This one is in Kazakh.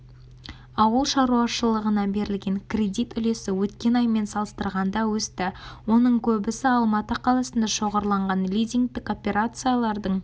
ауыл шаруашылығына берілген кредит үлесі өткен аймен салыстырғанда өсті оның көбісі алматы қаласында шоғырланған лизингтің операциялардың